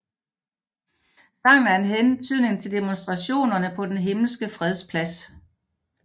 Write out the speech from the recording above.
Sangen er en hentydning til Demonstrationerne på Den Himmelske Freds Plads